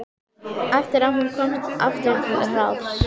Eftir að hún komst aftur til ráðs.